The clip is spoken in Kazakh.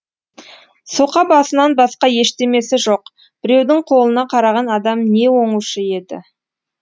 соқа басынан басқа ештемесі жоқ біреудің қолына қараған адам не оңушы еді